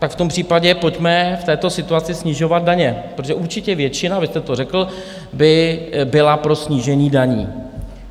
Tak v tom případě pojďme v této situaci snižovat daně, protože určitě většina, vy jste to řekl, by byla pro snížení daní.